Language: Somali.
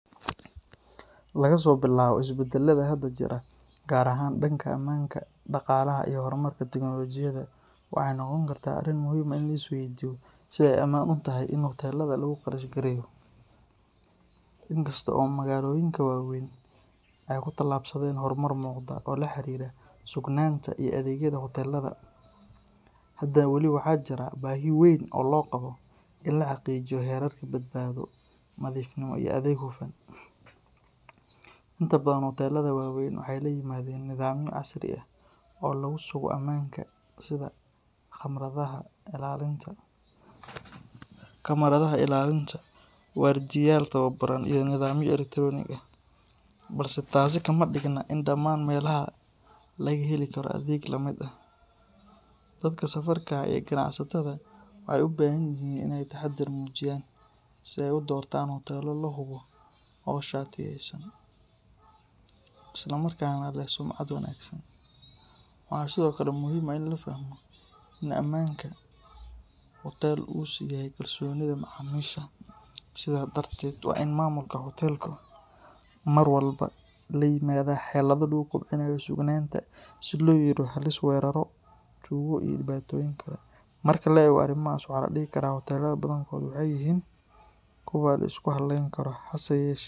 Laga soo bilaabo isbedelada hadda jira, gaar ahaan dhanka ammaanka, dhaqaalaha, iyo horumarka tiknoolajiyadda, waxay noqon kartaa arrin muhiim ah in la isweydiiyo sida ay u amaan tahay in hoteelada lagu qarashgareeyo. Inkasta oo magaalooyinka waaweyn ay ku tallaabsadeen horumar muuqda oo la xiriira sugnaanta iyo adeegyada hoteelada, haddana wali waxaa jirta baahi weyn oo loo qabo in la xaqiijiyo heerarka badbaado, nadiifnimo iyo adeeg hufan. Inta badan hoteelada waaweyn waxay la yimaadeen nidaamyo casri ah oo lagu sugo ammaanka, sida kamaradaha ilaalinta, waardiyayaal tababaran iyo nidaamyo elektaroonig ah, balse taasi kama dhigna in dhammaan meelaha laga heli karo adeeg la mid ah. Dadka safarka ah iyo ganacsatada waxay u baahan yihiin inay taxaddar muujiyaan, si ay u doortaan hoteelo la hubo oo shatiyeysan, isla markaana leh sumcad wanaagsan. Waxaa sidoo kale muhiim ah in la fahmo in ammaanka hoteel uu sal u yahay kalsoonida macaamiisha, sidaas darteed waa in maamulka hoteelku mar walba la yimaadaa xeelado lagu kobcinayo sugnaanta si loo yareeyo halista weerarro, tuugo, iyo dhibaatooyin kale. Marka la eego arrimahaas, waxaa la dhihi karaa hoteelada badankood waxay maanta yihiin kuwo la isku halleyn karo, hase yeeshee.